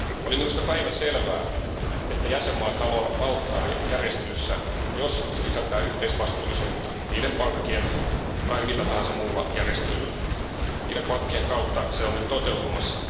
Oli minusta päivänselvää, että jäsenmaat haluavat valtaa järjestelyssä, jos se sisältää yhteisvastuullisuutta niiden pankkien kautta tai millä tahansa muulla järjestelyllä. Niiden pankkien kautta se on nyt toteutumassa.